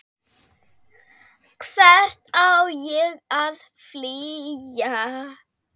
Hvert á ég að flýja?